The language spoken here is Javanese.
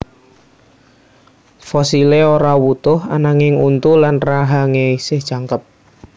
Fosilé ora wutuh ananging untu lan rahangé esih jangkep